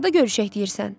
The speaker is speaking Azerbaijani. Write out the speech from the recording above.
Harda görüşək deyirsən?